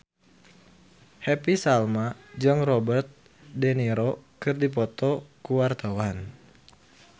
Happy Salma jeung Robert de Niro keur dipoto ku wartawan